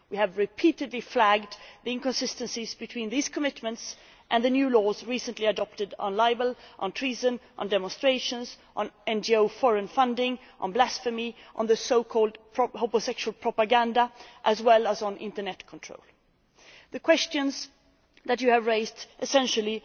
We have repeatedly flagged the inconsistencies between these commitments and the new laws recently adopted on libel, treason, demonstrations, NGO foreign funding, blasphemy, so called homosexual propaganda, as well as on internet control. The questions that you have raised essentially